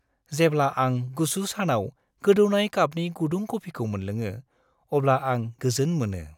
जेब्ला आं गुसु सानाव गोदौनाय कापनि गुदुं कफिखौ मोनलोङो, अब्ला आं गोजोन मोनो।